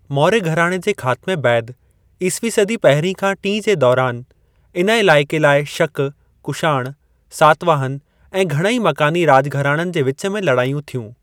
मौर्य घराणे जे ख़ात्मे बैदि, ईस्वी सदी पहिरीं खां टीं जे दौरान इन इलाइक़े लाइ शक, कुषाण, सातवाहन ऐं घणई मकानी राॼ घराणनि जे विच में लड़ायूं थियूं।